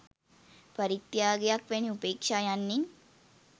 පරිත්‍යාගයක් වැනි උපේක්‍ෂා යන්නෙන්